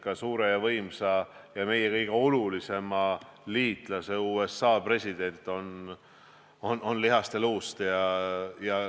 Ka suure ja võimsa ja meie kõige olulisema liitlase USA president on lihast ja luust inimene.